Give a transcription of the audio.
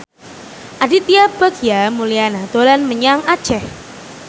Aditya Bagja Mulyana dolan menyang Aceh